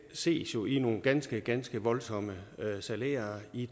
ses jo i nogle ganske ganske voldsomme salærer i